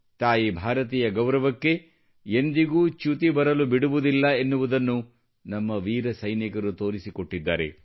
ತಾಯಿ ಭಾರತಿಯ ಗೌರವಕ್ಕೆ ಎಂದಿಗೂ ಚ್ಯುತಿ ಬರಲು ಬಿಡುವುದಿಲ್ಲ ಎನ್ನುವುದನ್ನು ನಮ್ಮ ವೀರ ಸೈನಿಕರು ತೋರಿಸಿಕೊಟ್ಟಿದ್ದಾರೆ